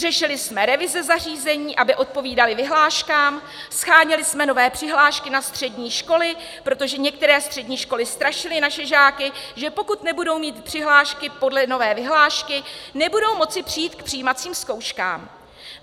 Řešili jsme revize zařízení, aby odpovídaly vyhláškám, sháněli jsme nové přihlášky na střední školy, protože některé střední školy strašily naše žáky, že pokud nebudou mít přihlášky podle nové vyhlášky, nebudou moci přijít k přijímacím zkouškám.